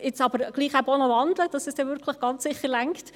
Jetzt muss ich aber auch noch wandeln, damit es dann ganz sicher reicht.